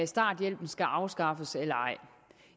starthjælpen skal afskaffes eller ej